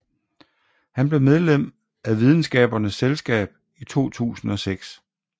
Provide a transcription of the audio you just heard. Han blev medlem af Videnskabernes Selskab i 2006